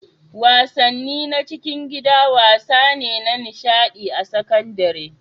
wasanni na cikin gida wasa ne na nishaɗi a sakandare